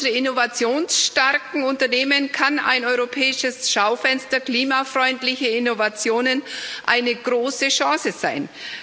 Für unsere innovationsstarken Unternehmen kann ein europäisches Schaufenster klimafreundliche Innovationen eine große Chance sein.